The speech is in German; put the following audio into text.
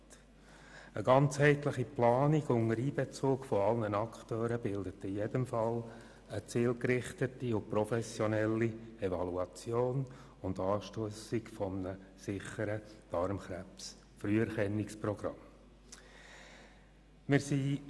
Eine ganzheitliche Planung unter Einbezug aller Akteure bildet in jedem Fall eine zielgerichtete und professionelle Evaluation und die Anstossung eines sicheren Darmkrebsfrüherkennungsprogramms.